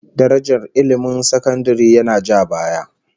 Darajar ilmin sakandare yana ja baya